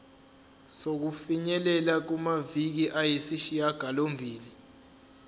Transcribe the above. sokufinyelela kumaviki ayisishagalombili